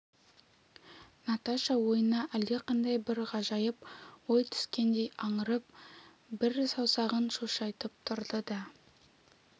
наташа ойына әлдеқандай бір ғажайып ой түскендей аңырып бір саусағын шошайтып тұрды да